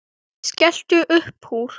Ég skellti uppúr.